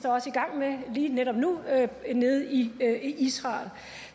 også i gang med lige netop nu nede i israel